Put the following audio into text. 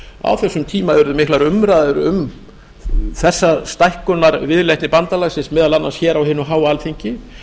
á þessum tíma urðu miklar umræður um þessa stækkunarviðleitni bandalagsins meðal annars á hinu háa alþingi